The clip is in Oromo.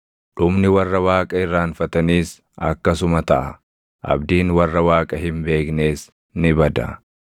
Dhumni warra Waaqa irraanfataniis akkasuma taʼa; abdiin warra Waaqa hin beeknees ni bada.